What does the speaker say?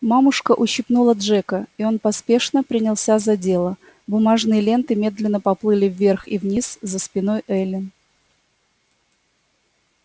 мамушка ущипнула джека и он поспешно принялся за дело бумажные ленты медленно поплыли вверх и вниз за спиной эллин